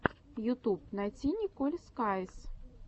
ютуб найди николь скайз